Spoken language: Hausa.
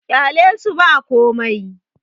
ƙyalesu ba komai!